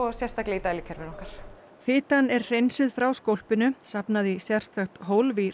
sérstaklega í dælukerfinu okkar fitan er hreinsuð frá skólpinu safnað í sérstakt hólf í